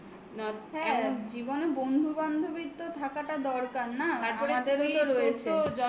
হ্যাঁ জীবনে বন্ধু বান্ধবীর তো থাকাটা দরকার না.